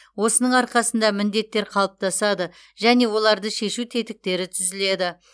осының арқасында міндеттер қалыптасады және оларды шешу тетіктері түзіледі